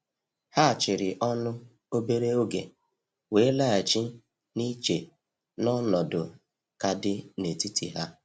Ha chịrị ọnụ obere oge, wee laghachi na iche n’ọnọdụ ka dị n’etiti ha.